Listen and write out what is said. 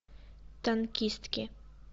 танкистки